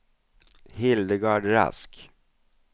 Hildegard Rask